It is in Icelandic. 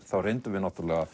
þá reyndum við